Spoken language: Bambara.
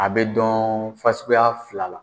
A bɛ dɔn fasuguya fila la